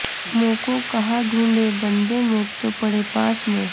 موکوں کہاں ڈھونڈے بندے میں تو پڑے پاس میں